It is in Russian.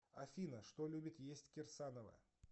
афина что любит есть кирсанова